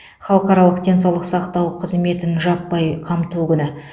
халықаралық денсаулық сақтау қызметін жаппай қамту күні